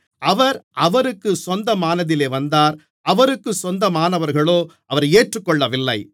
அவர் அவருக்குச் சொந்தமானதிலே வந்தார் அவருக்குச் சொந்தமானவர்களோ அவரை ஏற்றுக்கொள்ளவில்லை